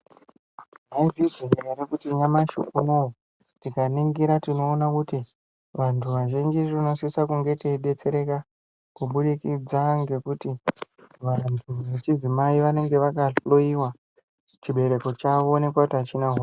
Mwaizviziya ere kuti nyamashi unowu, tikaningira tinoona kuti vantu vazhinji, tinosisa kunge teidetsereka, kubudikidza ngekuti, vantu vechidzimai vanenge vakahloiwa, chibereko chavo voonekwa kuti, achina ho....